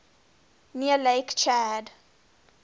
near lake chad